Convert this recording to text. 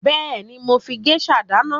Bẹ́èni, mo máa ń fi géṣà dáná.